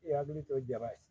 I hakili to jaba ye